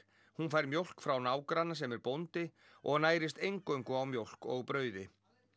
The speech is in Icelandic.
hún fær mjólk frá nágranna sem er bóndi og nærist eingöngu á mjólk og brauði